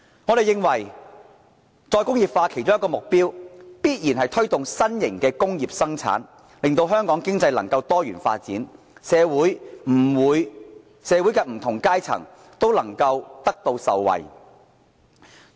我們認為再工業化的其中一個目標，必然是推動新型的工業生產，令香港經濟能夠多元發展，惠及社會的不同階層。